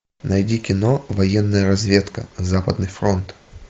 найди кино военная разведка западный фронт